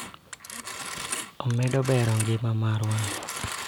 Omedo ber e ngima marwa